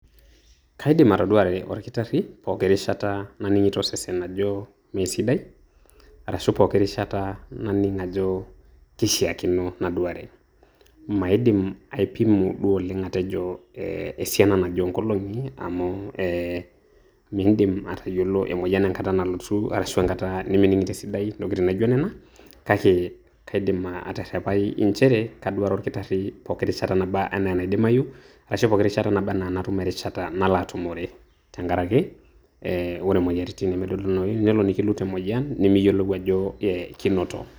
Kaidim atoduare olkitarri pooki rishata naning'ito osesen ajo meesidae, arashu pooki rishata naning' ajo keishaakino naduare. Maidim aipimu duo oleng' atejo eh esiana naje o nkolong'i amu eh miidim atayiolo emoyian enkata nalotu, arashu enkata nimining'ito esidai ntokitin naijo nena, kake kaidim aterrepai njere kaduare olkitarri pookin rishata enaa enaidimayu arashu pooki rishata naba enaa natum erishata nalo atumore tenkaraki, eh ore moyiaritin nemedolunoyu, eh nelo nikilut emoyian nimiyiolou ajo kinoto.